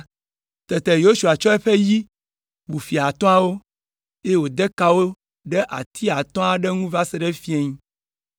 Tete Yosua tsɔ eƒe yi wu fia atɔ̃awo, eye wòde ka wo ɖe ati atɔ̃ ŋu va se ɖe fiẽ.